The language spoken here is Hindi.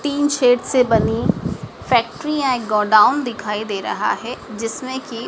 टीन शेड्स से बनी फैक्ट्रियां एक गोडाउन दिखाई दे रहा है जिसमें की--